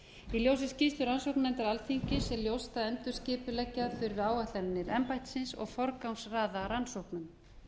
í ljósi skýrslu rannsóknarnefndar alþingis er ljóst að endurskipuleggja þurfi áætlanir embættisins og forgangsraða rannsóknum